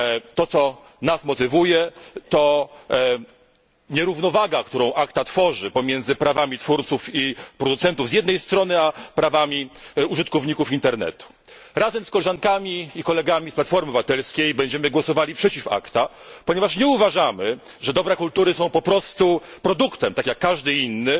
To, co nas motywuje, to nierównowaga, którą ACTA tworzy pomiędzy prawami twórców i producentów z jednej strony a prawami użytkowników internetu z drugiej. Razem z koleżankami i kolegami z Platformy Obywatelskiej będziemy głosowali przeciwko ACTA, ponieważ nie uważamy, że dobra kultury są po prostu produktem, tak jak każdy inny,